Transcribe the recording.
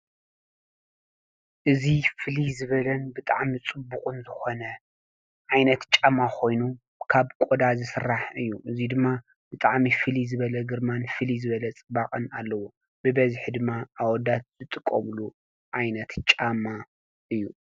እዚ ፍልይ ዝበለን ብጣዕሚ ጽቡቕን ዝኾነ ዓይነት ጫማ ኾይኑ ካብ ቈዳ ዝስራሕ እዩ። እዙይ ድማ ብጣፅሚ ፍሊይ ዝበለ ግርማን ፊልይ ዝበለ ጽባቐን ኣለዎ ።ብበዚሕ ድማ ኣወዳት ዝጥቀምሉ ኣይነት ጫማ እዩ።